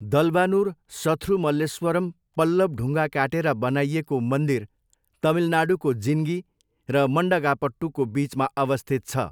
दलवानुर सथ्रुमल्लेश्वरम् पल्लव ढुङ्गा काटेर बनाइएको मन्दिर तमिलनाडूको जिन्गी र मन्डगापट्टुको बिचमा अवस्थित छ।